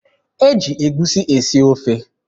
E ji egusi esi ofe.